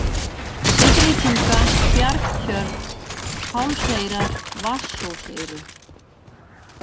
Syðritunga, Bjargtjörn, Hálseyrar, Vatnsósseyri